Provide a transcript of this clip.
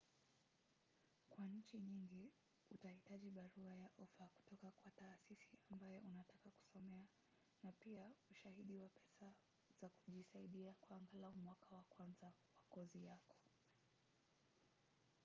kwa nchi nyingi utahitaji barua ya ofa kutoka kwa taasisi ambayo unataka kusomea na pia ushahidi wa pesa za kujisaidia kwa angalau mwaka wa kwanza wa kozi yako